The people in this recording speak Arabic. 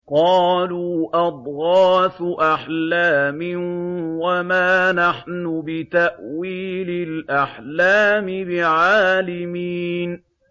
قَالُوا أَضْغَاثُ أَحْلَامٍ ۖ وَمَا نَحْنُ بِتَأْوِيلِ الْأَحْلَامِ بِعَالِمِينَ